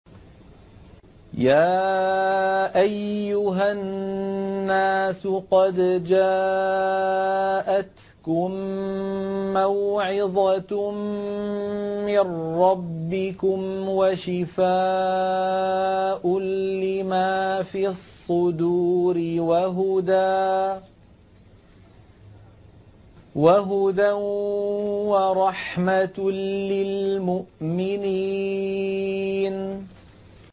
يَا أَيُّهَا النَّاسُ قَدْ جَاءَتْكُم مَّوْعِظَةٌ مِّن رَّبِّكُمْ وَشِفَاءٌ لِّمَا فِي الصُّدُورِ وَهُدًى وَرَحْمَةٌ لِّلْمُؤْمِنِينَ